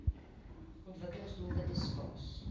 ontwikkelings doelwitte spas